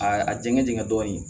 A a jɛngɛ jɛngɛn dɔɔnin